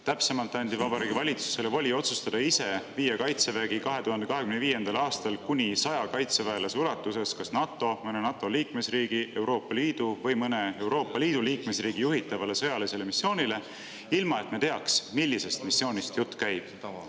Täpsemalt anti Vabariigi Valitsusele voli otsustada ise, kas viia Kaitsevägi 2025. aastal kuni 100 kaitseväelasega kas NATO, mõne NATO liikmesriigi, Euroopa Liidu või mõne Euroopa Liidu liikmesriigi juhitavale sõjalisele missioonile, ilma et me teaks, millisest missioonist jutt käib.